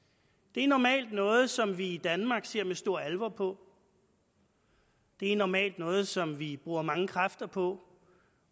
det er normalt noget som vi i danmark ser med stor alvor på det er normalt noget som vi bruger mange kræfter på